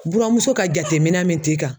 Buramuso ka jateminɛ min t'i kan